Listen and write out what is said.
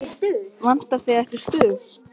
Vantar þig ekki stuð?